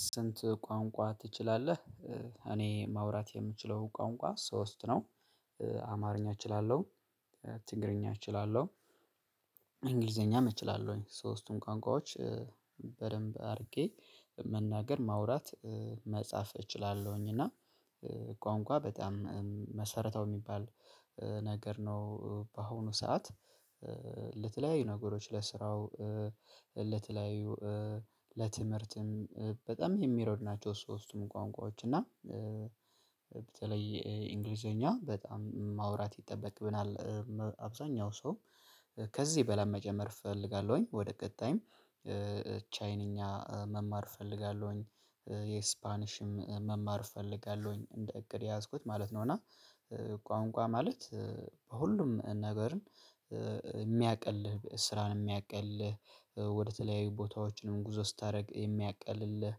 ስንት ቋንቋ ትችላለህ? እኔ ማውራት የምችለው ቋንቋ ሶስት ነው። አማርኛ እችላለሁ ትግርኛ እችላለሁ። እንግሊዘኛም እችላለሁኝ ሶስቱም ቋንቋዎች በደንብ አድርጌ መናገር ማውራት መጻፍ እችላለሁኝ። እና ቋንቋ በጣም መሰረታዊ የሚባል ነገር ነው በአሁኑ ሰዓት ለተለያዩ ነገሮች ለስራው ለተለያዩ ለትምህርትም በጣም የሚረዱ ናቸው። ሶስቱም ቋንቋዎች እና በተለይ እንግሊዘኛ በጣም ማውራት ይጠበቅብናል። አብዛኛው ሰው ከዚህ በላይ መጨመር እፈልጋለሁኝ ወደ ቀጣይም ቻይንኛ መማር እፈልጋለሁኝ የስፓኒሽም መማር እፈልጋለሁኝ እንደ እቅድ የያዝኩት ማለት ነው። እና ቋንቋ ማለት በሁሉም ነገርን የሚያቀልልህ ስራን የሚያቀልልህ ወደተለያዩ ቦታዎች ነው ጉዞ ስታደርግ የሚያቀልልህ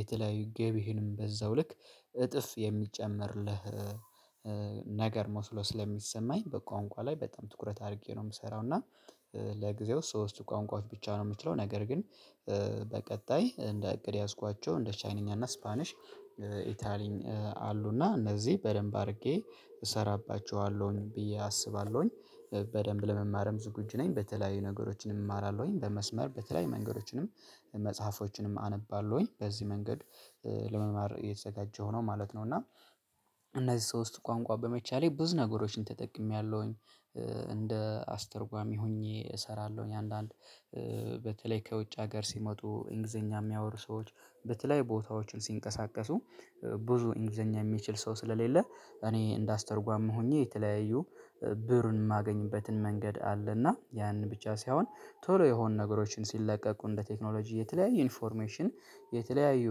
የተለያዩ ገቢህንም በዛው ልክ እጥፍ የሚጨመርልህ ነገር መስሎ ስለሚሰማኝ በቋንቋ ላይ በጣም ትኩረት አድርጌ ነው የምሰራው። እና ለጊዜው ሶስቱ ቋንቋዎች ብቻ ነው የምችለው ነገር ግን በቀጣይ እንደ እቅድ የያዝኳቸው እንደ ቻይንኛ እና ስፓኒሽ። ኢታሊን አሉና እነዚህ በደንብ አድርጌ እሰራባቸዋለሁኝ ብዬ አስባለሁኝ በደንብ ለመማርም ዝግጁ ነኝ። በተለያዩ ነገሮችን እማራለሁኝ በመስመር በተለያዩ መንገዶችንም መጽሐፎችንም አነባለሁኝ በዚህ መንገድ ለመማር እየተዘጋጀው ሆኖ ማለት ነው። እና እነዚህ ሶስት ቋንቋ በመቻሌ ብዙ ነገሮችን ተጠቅሜያለሁኝ እንደ አስተርጓሚ ሆኜ እሰራለሁኝ። አንዳንድ በተለይ ከውጭ ሀገር ሲመጡ እንግሊዘኛ የሚያወሩ ሰዎች በተለይ ቦታዎችን ሲንቀሳቀሱ ብዙ እንግሊዘኛ የሚችል ሰው ስለሌለ። እኔ እንዳስተርጓም ሆኜ የተለያዩ ብሩን የማገኝበትን መንገድ አለና ያንን ብቻ ሳይሆን ቶሎ የሆኑ ነገሮችን ሲለቀቁ እንደ ቴክኖሎጂ የተለያዩ ኢንፎርሜሽን የተለያዩ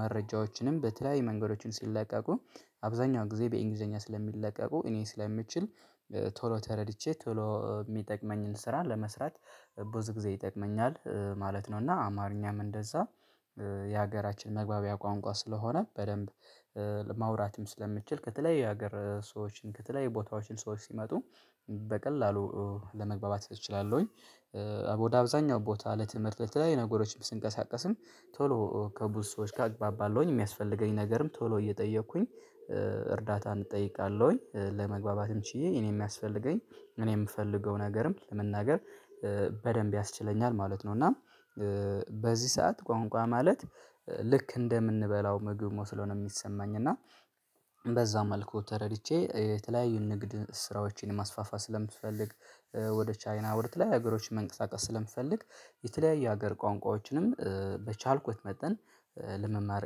መረጃዎችንም በተለያዩ መንገዶችን ሲለቀቁ አብዛኛው ጊዜ በእንግሊዘኛ ስለሚለቀቁ እኔ ስለምችል ቶሎ ተረድቼ ቶሎ የሚጠቅመኝን ስራ ለመስራት ብዙ ጊዜ ይጠቅመኛል ማለት ነው። እና አማርኛም እንደዛ የሀገራችን መግባቢያ ቋንቋ ስለሆነ በደንብ ለማውራትም ስለምችል ከተለይ የሀገር ሰዎችን ከተለያየ ቦታዎች ሰዎች ሲመጡ በቀላሉ ለመግባባት እችላለሁኝ። ወደ አብዛኛው ቦታ ለትምህርት ለተለያዩ ነገሮችን ስንቀሳቀስም ቶሎ ከብዙ ሰዎች ጋር እግባባለው የሚያስፈልገኝ ነገርም ቶሎ እየጠየኩኝ እርዳታ እጠይቃለሁኝ ለመግባባትም ችዬ እኔም የሚያስፈልገኝ እኔም የምፈልገው ነገርም ለመናገር በደንብ ያስችለኛል ማለት ነው። እና በዚህ ሰዓት ቋንቋ ማለት ልክ እንደምንበላው ምግብ መስሎ ነው የሚሰማኝ። እና በዛ መልኩ ተረድቼ የተለያዩ ንግድ ስራዎችን ማስፋፋት ስለምፈልግ ወደ ቻይና ወደ ተለያዩ ሀገሮች መንቀሳቀስ ስለምፈልግ የተለያየ ሀገር ቋንቋዎችንም በቻልኩት መጠን ለመማር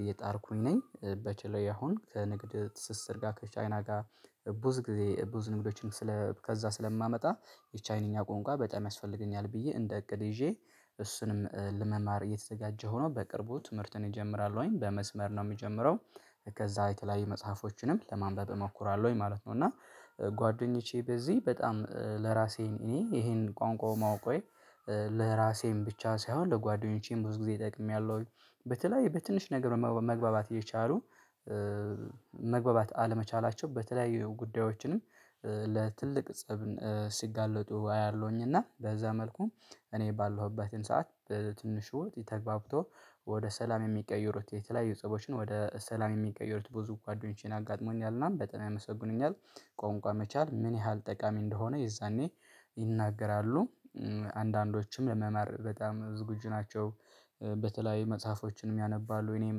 እየጣርኩኝ ነኝ። በተለይ አሁን ከንግድ ትስስር ጋር ከቻይና ጋር ብዙ ጊዜ ብዙ ንግዶችን ከዛ ስለማመጣ የቻይንኛ ቆንቋ በጣም ያስፈልገኛል ብዬ እንደ እቅድ ይዤ እሱንም ለመማር እየተዘጋጀው በቅርቡ ትምህርትን እጀምራለው በመስመር ነው የምጀምረው። ከዛ የተለያዩ መጽሐፎችንም ለማንበብ እሞክራለሁኝ ማለት ነው። እና ጓደኞቼ በዚህ በጣም ለራሴ እኔ ይሄን ቋንቋው ማወቅ ሆይ ለራሴም ብቻ ሳይሆን ለጓደኞቼም ብዙ ጊዜ ይጠቅሜያለሁኝ። በተለይ በትንሽ ነገር መግባባት የቻሉ መግባባት አለመቻላቸው በተለያዩ ጉዳዮችንም ለትልቅ ፀብ ሲጋለጡ አያለሁኝ። እና በዛ መልኩ እኔ ባለሁበትን ሰዓት በትንሹ ውጤት ተግባብቶ ወደ ሰላም የሚቀየሩት የተለያዩ ጽሁፎችን ወደ ሰላም የሚቀየሩት ብዙ ጓደኞቼን አጋጥሞኛል ምናምን በጣም ያመሰግኑኛል። ቋንቋ መቻል ምን ያህል ጠቃሚ እንደሆነ? የዛኔ ይናገራሉ። አንዳንዶችም ለመማር በጣም ዝግጁ ናቸው። በተለያዩ መጽሐፎችንም ያነባሉ እኔም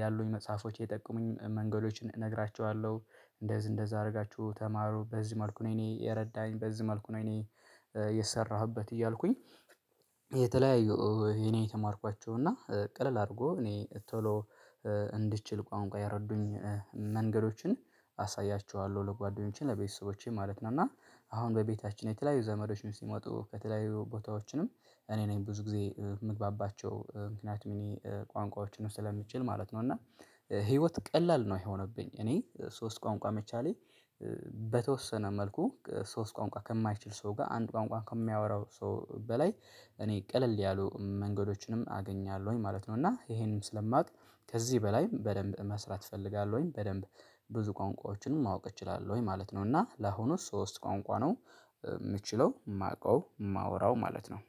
ያሉኝ መጽሐፎች የጠቀሙኝ መንገዶችን እነግራችኋለሁ። እንደዚህ እንደዚህ አድርጋችሁ ተማሩ በዚህ መልኩ ነው። እኔ የረዳኝ በዚህ መልኩ ነው። እኔ የሰራሁበት እያልኩኝ። የተለያዩ የኔ የተማርኳቸው እና ቀለል አድርጎ እኔ ቶሎ እንድትችል ቋንቋ ያረጉኝን መንገዶችን አሳያችኋለሁ። ለጓደኞቼ ለቤተሰቦቼ ማለት ነው። እና አሁን በቤታችን የተለያዩ ዘመዶችን ሲመጡ ከተለያዩ ቦታዎችንም እኔ ነኝ ብዙ ጊዜ የምግባባቸው ምክንያቱም ብዙ ቋንቋዎችን ስለምንችል ማለት ነው። እና ህይወት ቀላል ነው የሆነብኝ እኔ ሶስት ቋንቋ መቻሌ። በተወሰነ መልኩ ሶስት ቋንቋ ከማይችል ሰው ጋር አንድ ቋንቋ ከሚያወራው ሰው በላይ እኔ ቀለል ያሉ መንገዶችንም አገኛለሁኝ ማለት ነው። እና ይሄንም ስለማውቅ ከዚህ በላይም በደንብ መስራት እፈልጋለሁኝ። በደንብ ብዙ ቋንቋዎችን ማወቅ እችላለሁ ወይ ማለት ነው? እና ለአሁኑ ሶስት ቋንቋ ነው የምችለው የማውቀው የማወራው ማወራው ማለት ነው።